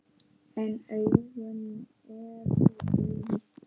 En augun eru blíð.